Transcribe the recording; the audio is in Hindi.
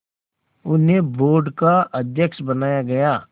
उन्हें बोर्ड का अध्यक्ष बनाया गया